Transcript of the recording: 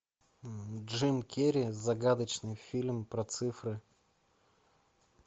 джим керри загадочный фильм про цифры